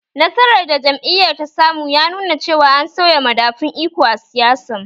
Nasarar da jam'iyyar ta samu ya nuna cewa an sauya madafun iko a siyasan